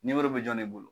Nimoro bɛ jɔn ne bolo